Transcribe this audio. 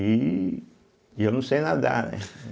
E e eu não sei nadar, né?